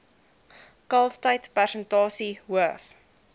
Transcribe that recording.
kalftyd persentasie hoof